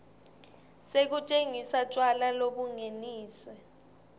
sekutsengisa tjwala lobungeniswe